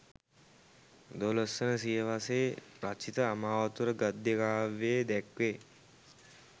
12 වන සියවසේ රචිත අමාවතුර ගද්‍ය කාව්‍යයේ දැක්වේ.